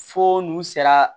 Fo n'u sera